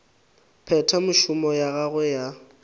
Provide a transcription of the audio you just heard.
phetha mešomo ya gagwe ya